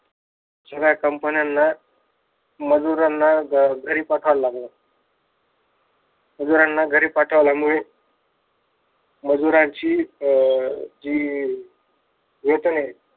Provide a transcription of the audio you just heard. साऱ्या companies ला मजुरांना घरी पाठवाव लागल. मजुरांना घरी पाठवल्यामुळे मजुरांची अं जी वेतन आहे.